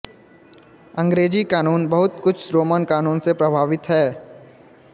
अंग्रेजी कानून बहुत कुछ रोमन कानून से प्रभावित है